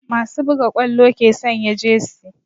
Masu buga ƙwallo ke sanya jesi